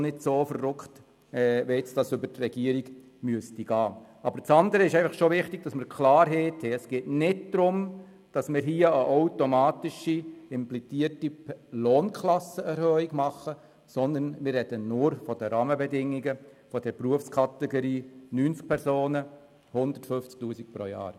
Wichtig ist jedoch die Klarheit darüber, dass es sich nicht um eine automatisch implementierte Lohnklassenerhöhung handelt, sondern es geht nur um die Rahmenbedingungen der Berufskategorie, wobei 90 Personen betroffen sind.